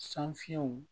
San fiɲɛw